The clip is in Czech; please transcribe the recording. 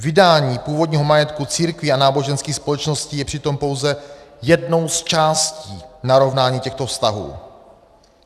Vydání původního majetku církví a náboženských společností je přitom pouze jednou z částí narovnání těchto vztahů.